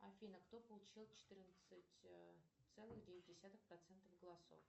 афина кто получил четырнадцать целых девять десятых процентов голосов